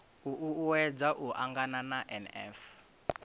u uuwedza u angana na nf